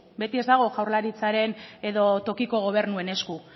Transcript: beti ez dago jaurlaritzaren edo tokiko gobernuen esku